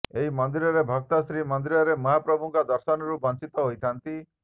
ଏହି ସମୟରେ ଭକ୍ତ ଶ୍ରୀ ମନ୍ଦିର ରେ ମହାପ୍ରଭୁଙ୍କ ଦର୍ଶନ ରୁ ବଂଚିତ ହୋଇଥାନ୍ତି